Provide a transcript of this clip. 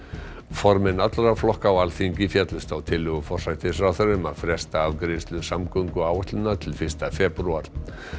formenn allra flokka á Alþingi féllust á tillögu forsætisráðherra um að fresta afgreiðslu samgönguáætlunar til fyrsta febrúar